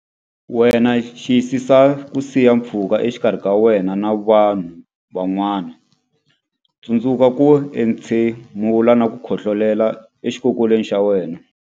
Wena Xiyisisa ku siya pfhuka exikarhi ka wena na vanhu van'wana Tsundzuka ku entshemula na ku khohlolela exikokolweni xa wena.